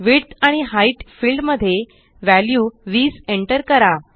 width आणिHeight field मध्ये value 20 enter करा